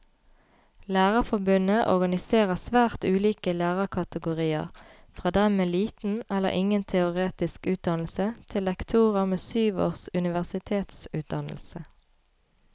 Lærerforbundet organiserer svært ulike lærerkategorier, fra dem med liten eller ingen teoretisk utdannelse til lektorer med syv års universitetsutdannelse.